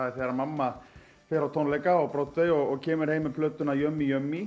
þegar mamma fer á tónleika á Broadway og kemur heim með plötuna